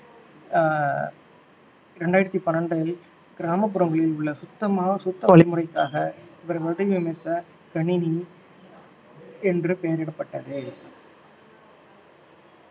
ஆஹ் இரண்டாயிரத்தி பன்னிரெண்டில் கிராமப்புறங்களில் உள்ள வழிமுறைக்காக இவர்கள் வடிவமைத்த கணினி என்று பெயரிடப்பட்டது.